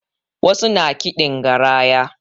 Wasu na kiɗin garaya